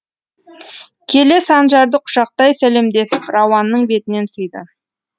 келе санжарды құшақтай сәлемдесіп рауанның бетінен сүйді